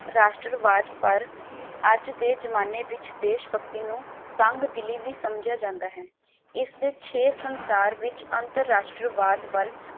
ਰਾਸ਼ਟਰਵਾਦ ਪਰ ਅੱਜ ਦੇ ਜਮਾਨੇ ਵਿਚ ਦੇਸ਼ਭਕਤੀ ਨੂੰ ਤੰਗਦਿਲੀ ਵੀ ਸਮਝਿਆ ਜਾਂਦਾ ਹੈ। ਇਸ ਦੇ ਛੇ ਸੰਸਾਰ ਵਿਚ ਅੰਤਰਰਾਸ਼੍ਟ੍ਰਵਾਦ ਵੱਲ